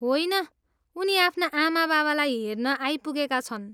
होइन, उनी आफ्ना आमाबाबालाई हेर्न आइपुगेका छन्।